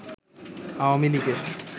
আওয়ামী লীগের